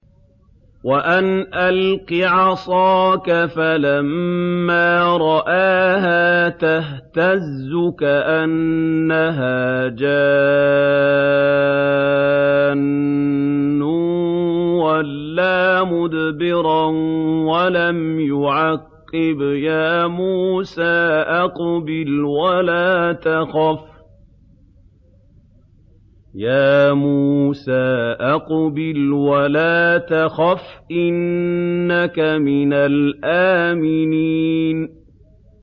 وَأَنْ أَلْقِ عَصَاكَ ۖ فَلَمَّا رَآهَا تَهْتَزُّ كَأَنَّهَا جَانٌّ وَلَّىٰ مُدْبِرًا وَلَمْ يُعَقِّبْ ۚ يَا مُوسَىٰ أَقْبِلْ وَلَا تَخَفْ ۖ إِنَّكَ مِنَ الْآمِنِينَ